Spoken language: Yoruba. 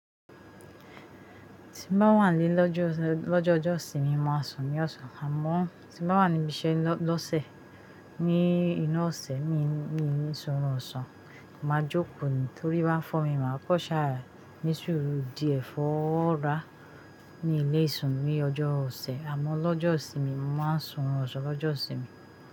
Ti’n bá wà ní lọ́jọ́jọ ìsinmi máa sùn ní ọ̀sán, àmọ́ tí’n bá wà níbi iṣẹ́ lọ́sẹ̀ ní inú ọ̀sẹ̀ mi ni mí surun ọ̀sán máa jókòó ni torí bá ń fọ́ mi máa kọ́ ṣàárà nísùúrù díẹ̀ fọ́ rárá mílé sun ní ọjọ́ ọ̀sẹ̀ àmọ́ lọ́jọ́ ìsinmi mo máa ń sùn ọ̀sán lọ́jọ́ isinmi.